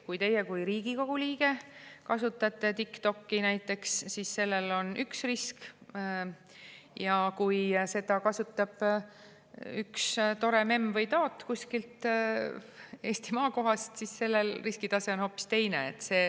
Kui teie kui Riigikogu liige kasutate TikTokki, siis sellel on üks risk, aga kui seda kasutab üks tore memm või taat kuskilt Eesti maakohast, siis on riskitase hoopis teine.